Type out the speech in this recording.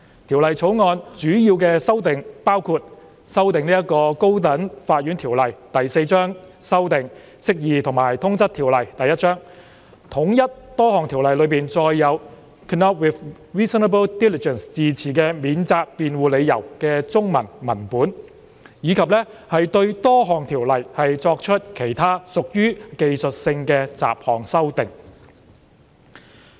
《條例草案》主要修訂包括：修訂《高等法院條例》、修訂《釋義及通則條例》、統一多項條例中載有 "could not with reasonable diligence" 字詞的免責辯護理由的中文文本，以及對多項條例作出其他屬技術性的雜項修訂。